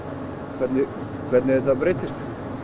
hvernig hvernig þetta breytist